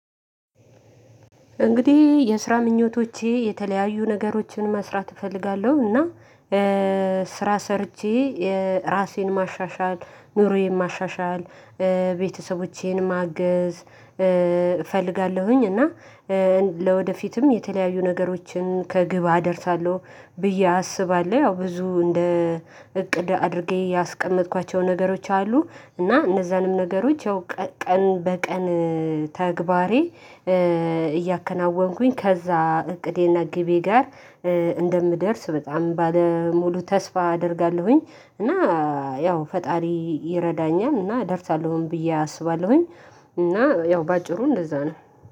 እንግዲህ የስራ ምኞቶቼ የተለያዩ ነገሮችን መስራት እፈልጋለሁ እና ስራ ሰርቼ ራሴን ማሻሻል ኑሮዬን ማሻሻል ቤተሰቦቼን ማገዝ እፈልጋለሁኝ። እና ለወደፊትም የተለያዩ ነገሮችን ከግብ አደርሳለሁ ብዬ አስባለሁ። ያው ብዙ እንደ እቅድ አድርጌ ያስቀመጥኳቸው ነገሮች አሉ። እና እነዛንም ነገሮች ያው ቀን በቀን ተግባሬ እያከናወንኩኝ ከዛ እቅዴና ግቤ ጋር እንደምደርስ በጣም ባለሙሉ ተስፋ አደርጋለሁኝ። እና ያው ፈጣሪ ይረዳኛል እና እደርሳለሁኝ ብዬ አስባለሁኝ። እና ያው በአጭሩ እንደዛ ነው።